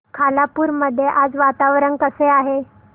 खालापूर मध्ये आज वातावरण कसे आहे